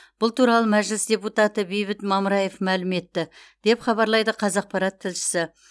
бұл туралы мәжіліс депутат бейбіт мамыраев мәлім етті деп хабарлайды қазақпарат тілшісі